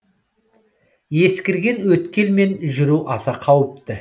ескірген өткелмен жүру аса қауіпті